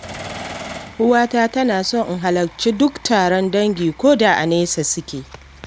Uwata tana so in halarci duk taron dangi, ko da a nesa suke.